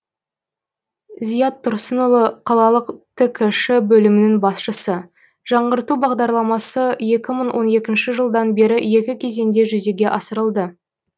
зият тұрсынұлы қалалық ткш бөлімінің басшысы жаңғырту бағдарламасы екі мың он екінші жылдан бері екі кезеңде жүзеге асырылды